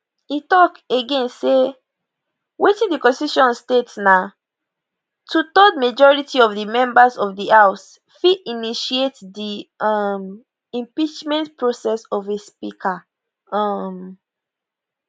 e tok again say wetin di constitution state na twothird majority of di members of di house fit initiate di um impeachment process of a speaker um